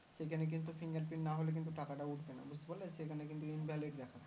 সেখানে কিন্তু fingerprint নাহলে কিন্তু টাকাটা উঠবে না বুজতে পারলে সেখানে কিন্তু invalid দেখাবে